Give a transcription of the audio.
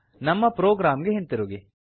ನಮ್ಮ ಪ್ರೊಗ್ರಾಮ್ ಗೆ ಹಿಂತಿರುಗಿ